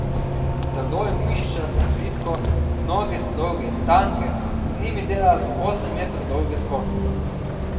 Telo je mišičasto in vitko, noge so dolge in tanke, z njimi dela do osem metrov dolge skoke.